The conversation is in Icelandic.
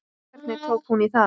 Hvernig tók hún í það?